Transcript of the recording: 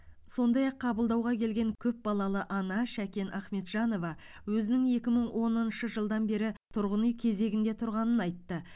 сондай ақ қабылдауға келген көпбалалы ана шәкен ахметжанова өзінің екі мың оныншы жылдан бері тұрғын үй кезегінде тұрғанын айтты